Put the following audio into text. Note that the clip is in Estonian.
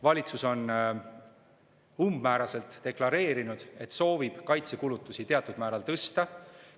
Valitsus on umbmääraselt deklareerinud, et soovib kaitsekulutusi teatud määral tõsta.